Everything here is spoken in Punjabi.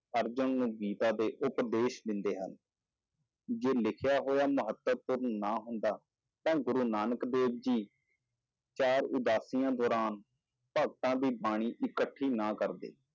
ਅਰਜਨ ਨੂੰ ਗੀਤਾ ਦੇ ਉਪਦੇਸ਼ ਦਿੰਦੇ ਹਨ, ਜੇ ਲਿਖਿਆ ਹੋਇਆ ਮਹੱਤਵਪੂਰਨ ਨਾ ਹੁੰਦਾ, ਤਾਂ ਗੁਰੂ ਨਾਨਕ ਦੇਵ ਜੀ ਚਾਰ ਉਦਾਸੀਆਂ ਦੌਰਾਨ ਭਗਤਾਂ ਦੀ ਬਾਣੀ ਇਕੱਠੀ ਨਾ ਕਰਦੇ।